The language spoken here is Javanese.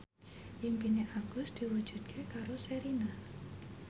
impine Agus diwujudke karo Sherina